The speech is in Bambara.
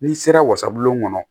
N'i sera wasabulon kɔnɔ